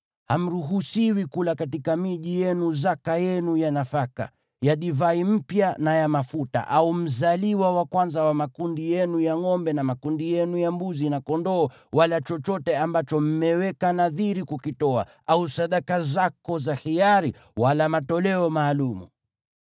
Hamruhusiwi kula katika miji yenu zaka yenu ya nafaka, ya divai mpya na ya mafuta, au mzaliwa wa kwanza wa makundi yenu ya ngʼombe na makundi yenu ya mbuzi na kondoo, wala chochote ambacho mmeweka nadhiri kukitoa, au sadaka zako za hiari, wala matoleo maalum.